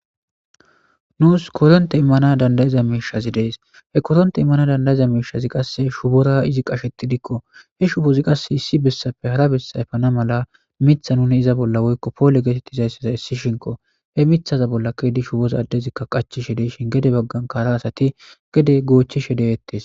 Nuus koronte immana dandayiza miishazi dees he koronte immana dandayiza miishazi qasse shubora izi qasheti dikko he shubozi qasse issi bessafe hara bessayfana mala mitha nune iza bolla woykko poole geetetti zaysseza issi shinko he mithaza bolla kedi shuboza addezikka qachishe deishin gede baggan kara asati gede goochishe dewettes.